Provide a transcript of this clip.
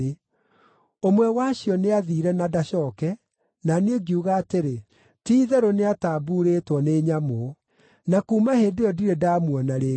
Ũmwe wacio nĩathiire na ndacooke, na niĩ ngiuga atĩrĩ, “Ti-itherũ nĩatambuurĩtwo nĩ nyamũ!” Na kuuma hĩndĩ ĩyo ndirĩ ndamuona rĩngĩ.